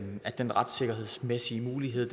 den retssikkerhedsmæssige mulighed